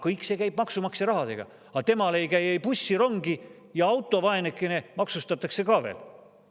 Kõik see käib maksumaksja rahaga, aga temal ei käi ei bussi ega rongi ja auto, vaeneke, maksustatakse ka veel.